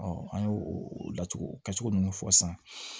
an y'o o laturu kɛ cogo ninnu fɔ sisan